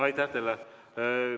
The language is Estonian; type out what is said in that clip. Aitäh teile!